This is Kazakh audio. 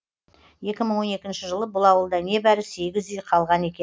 екі мың он екінші жылы бұл ауылда небәрі сегіз үй қалған екен